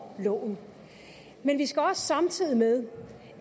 loven men vi skal også samtidig med